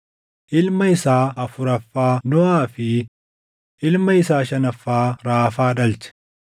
ilma isaa afuraffaa Nohaa fi ilma isaa shanaffaa Raafaa dhalche.